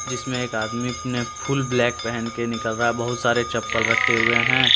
जिसमें एक आदमी अपने फुल ब्लैक पहन के निकल रहा है बहुत सारे चप्पल रखे हुए हैं।